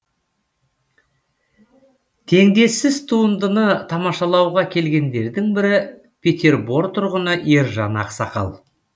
теңдессіз туындыны тамашалауға келгендердің бірі петербор тұрғыны ержан ақсақал